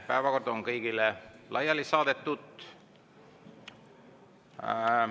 Päevakord on kõigile laiali saadetud.